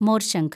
മോര്‍ശംഖ്